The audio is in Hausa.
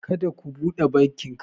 ka da ka bude bakinka